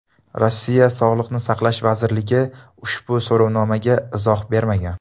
Rossiya Sog‘liqni saqlash vazirligi ushbu so‘rovnomaga izoh bermagan.